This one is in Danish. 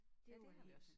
Ja det har vi også